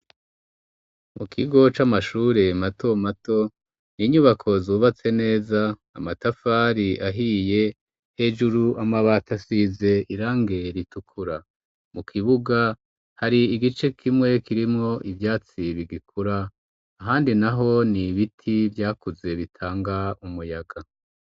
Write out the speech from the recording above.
Mu kigo c'amashure matomato, inyubako zubatse neza, amatafari ahiye, hejuru amabati asize irangi ritukura. Mu kibuga hari igice kimwe kirimwo ivyatsi bigikura ahandi naho ni ibiti vyakuze bitanga umuyaga.